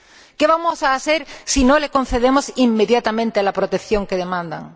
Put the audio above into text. ¿Qué vamos a hacer si no les concedemos inmediatamente la protección que demandan?